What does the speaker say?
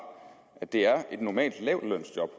at det er et normalt lavtlønsjob